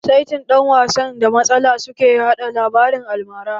Saitin, ɗan wasan da matsala su ke haɗa labaran almara.